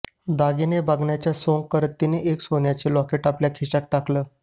दागिने बघण्याचं सोंग करत तिनं एक सोन्याचं लॉकेट आपल्या खिशात टाकलं